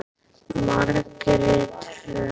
Margrét Hrönn.